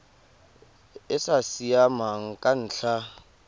e sa siamang ka ntlha